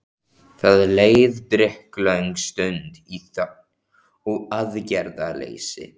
Það leið drykklöng stund í þögn og aðgerðaleysi.